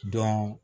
Dɔn